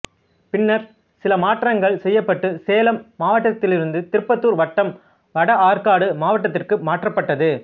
பின்னர் சில மாற்றங்கள் செய்யப்பட்டு சேலம் மாவட்டதிலிருந்து திருப்பத்தூர் வட்டம் வட ஆற்காடு மாவட்டத்துக்கு மாற்றப்பட்டது